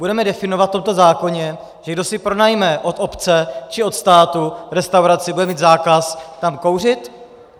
Budeme definovat v tomto zákoně, že kdo si pronajme od obce či od státu restauraci, bude mít zákaz tam kouřit?